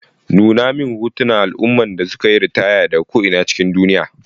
Nuna min hotunan al'ummomin da suka yi ritaya daga ko'ina cikin duniya.